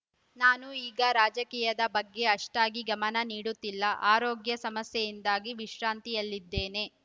ನಾನು ಈಗ ರಾಜಕೀಯದ ಬಗ್ಗೆ ಅಷ್ಟಾಗಿ ಗಮನ ನೀಡುತ್ತಿಲ್ಲ ಆರೋಗ್ಯ ಸಮಸ್ಯೆಯಿಂದಾಗಿ ವಿಶ್ರಾಂತಿಯಲ್ಲಿದ್ದೇನೆ